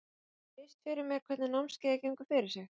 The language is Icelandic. Geturðu lýst fyrir mér hvernig námskeiðið gengur fyrir sig?